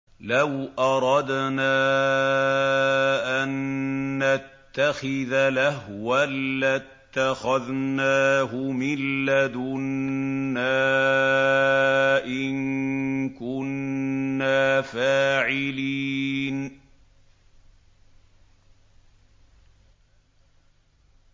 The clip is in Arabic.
لَوْ أَرَدْنَا أَن نَّتَّخِذَ لَهْوًا لَّاتَّخَذْنَاهُ مِن لَّدُنَّا إِن كُنَّا فَاعِلِينَ